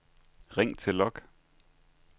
ring til log